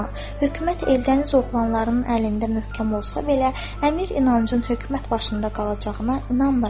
Hökumət Eldəniz oğlanlarının əlində möhkəm olsa belə, əmir inancın hökumət başında qalacağına inanmıram.